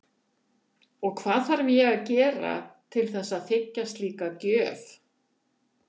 Og hvað þarf ég að gera til þess að þiggja slíka gjöf?